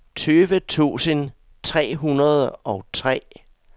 tyve tusind tre hundrede og tre